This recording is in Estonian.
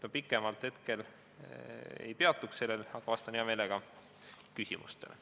Ma pikemalt hetkel sellel ei peatu, aga vastan hea meelega küsimustele.